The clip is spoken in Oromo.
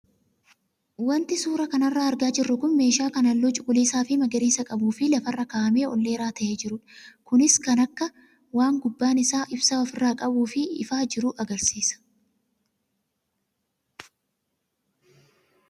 Wanti suuraa kanarraa argaa jirru kun meeshaa kan halluu cuquliisaa fi magariisa qabuu fi lafarra kaa'amee ol dheeraa ta'ee jirudha. Kunis akka waan gubbaan isaa ibsaa ofirraa qabuu fi ifaa jiru agarsiisa.